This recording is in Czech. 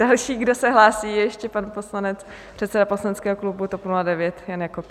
Další, kdo se hlásí, je ještě pan poslanec, předseda poslaneckého klubu TOP 09 Jan Jakob.